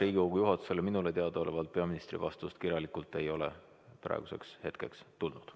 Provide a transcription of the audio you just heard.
Minule teadaolevalt Riigikogu juhatusele peaministri vastust kirjalikult praeguseks hetkeks ei ole tulnud.